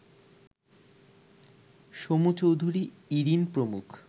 সমু চৌধুরী, ইরিন প্রমুখ